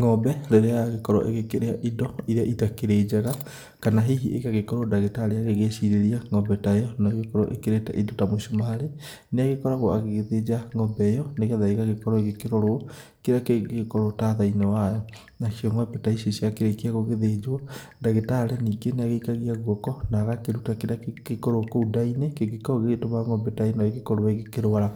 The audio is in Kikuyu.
Ng'ombe rĩrĩa yagĩkorwo ĩkĩrĩa indo irĩa itakĩrĩ njega kana hihi ĩgakorwo ndagĩtarĩ aragĩcirĩrĩa ng'ombe ta ĩyo no ĩgĩkorwo ĩrĩte indo ta mũcumarĩ nĩ agĩkoragwo agĩgĩthĩnja ng'ombe ĩyo nĩgetha ĩgagĩkorwo ĩkĩrorwo kĩrĩa kĩngĩkorwo tathaini wayo nacio ng'ombe ta ici ciakĩrĩkwo gũgĩthĩnjwo ndagĩtarĩ ningĩ nĩagĩikagĩa gũoko na agakĩruta kĩrĩa kĩngĩorwo kũu nda-inĩ kĩndĩkorwo gĩgĩtuma ngombe ta ĩno ĩgĩkorwo ĩkĩrũara,